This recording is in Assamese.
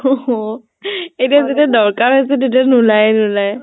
অʼ । এতিয়া যেতিয়া দৰকাৰ হৈছে এতিয়া নোলায়ে নোলাই